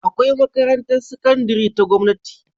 Akwai makarantar sakandari ta gamnati